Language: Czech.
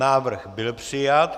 Návrh byl přijat.